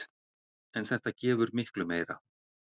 En þetta gefur miklu meira.